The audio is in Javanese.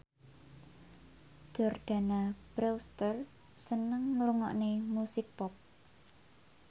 Jordana Brewster seneng ngrungokne musik pop